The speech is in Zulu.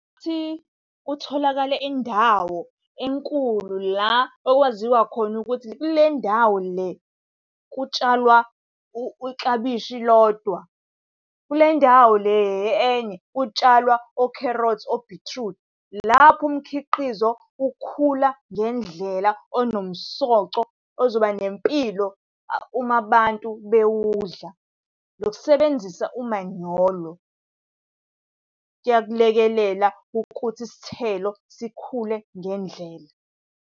Ukuthi kutholakale indawo enkulu la okwaziwa khona ukuthi kule ndawo le kutshalwa iklabishi lodwa, kule ndawo le enye, kutshalwa okherothi obhithrudi. Lapho umkhiqizo ukhula ngendlela onomsoco, ozoba nempilo uma abantu bewudla. Nokusebenzisa umanyolo, kuyakulekelela ukuthi isithelo sikhule ngendlela.